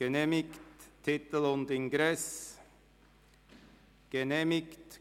Angenommen Titel und Ingress Angenommen